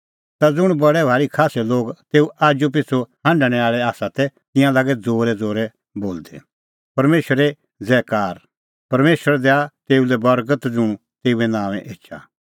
ता ज़ुंण बडै भारी खास्सै लोग तेऊ आजूपिछ़ू हांढणै आल़ै आसा तै तिंयां लागै ज़ोरैज़ोरै बोलदै परमेशरे ज़ैज़ैकार परमेशर दैआ तेऊ लै बर्गत ज़ुंण तेऊए नांओंऐं एछा